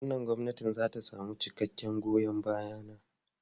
Wannan gwamnati za ta samu cikakken goyon baya na.